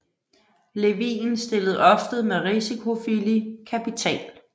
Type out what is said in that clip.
Levin stillede ofte med risikovillig kapital